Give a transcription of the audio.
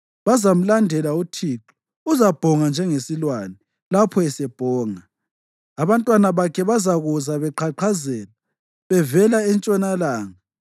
Bazamlandela uThixo; uzabhonga njengesilwane. Lapho esebhonga, abantwana bakhe bazakuza beqhaqhazela bevela entshonalanga.